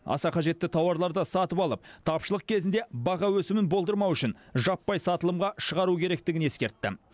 аса қажетті тауарларды сатып алып тапшылық кезінде баға өсімін болдырмау үшін жаппай сатылымға шығару керектігін ескертті